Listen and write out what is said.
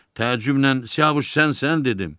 Təəccüblə Siyavuş sənsən dedim.